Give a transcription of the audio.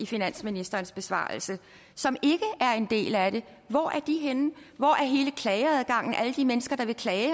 i finansministerens besvarelse og som ikke er en del af det hvor er de henne hvor er hele klageadgangen altså alle de mennesker der vil klage